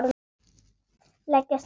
Leggist niður.